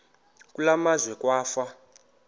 kule meazwe kwafa